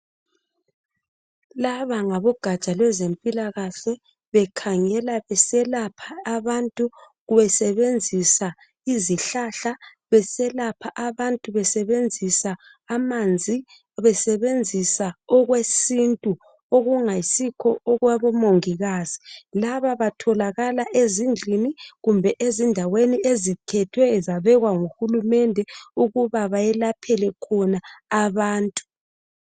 Laba ngabogatsha lwezempilakahle bekhangela beselapha abantu besebenzisa izihlahla, beselapha abantu besebenzisa amanzi ,besebenzisa okwesintu okungayisikho okwabomongikazi. Laba batholakala ezindlini kumbe ezindaweni ezikhethwe zabekwa nguHulumende ukuba bayelaphele khona abantu.